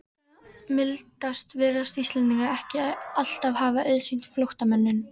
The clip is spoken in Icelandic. Slíka mildi virðast Íslendingar ekki alltaf hafa auðsýnt flóttamönnum.